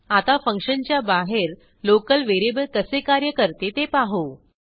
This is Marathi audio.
आता फंक्शनच्या बाहेर लोकल व्हेरिएबल कसे कार्य करते ते पाहू